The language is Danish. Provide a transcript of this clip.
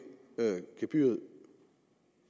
gebyret